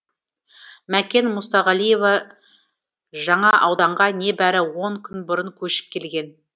мәкен мұстағалиева жаңа ауданға небәрі он күн бұрын көшіп келген